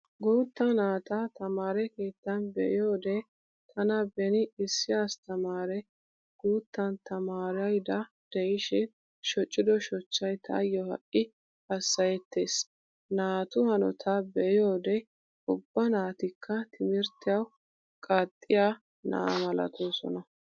Guutta naata tamaare keettan be'iyoode tana beni issi asttamaare guuttan tamaarayda de'ishin shocido shochchcay taayyo ha'i hassayettees. Naatu hanotaa be'iyoode ubba naatikka timirttiyawu qaaxxiyaa na'a malatoosona.